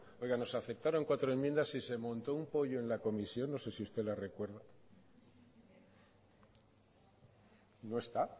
oiga nos aceptaron cuatro enmiendas y se montó un pollo en la comisión no sé si usted la recuerda no está